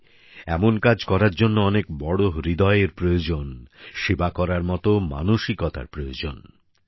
সত্যিই এমন কাজ করার জন্য অনেক বড় হৃদয়ের প্রয়োজন সেবা করার মতো মানসিকতার প্রয়োজন